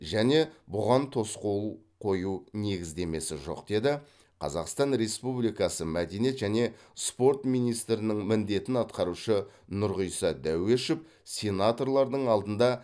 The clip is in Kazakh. және бұған тосқауыл қою негіздемесі жоқ деді қазақстан республикасы мәдениет және спорт министрінің міндетін атқарушы нұрғиса дәуешов сенаторлардың алдында